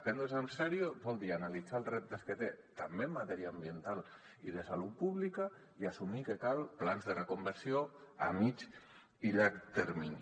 prendre’nsel en sèrio vol dir analitzar els reptes que té també en matèria ambiental i de salut pública i assumir que calen plans de reconversió a mitjà i llarg termini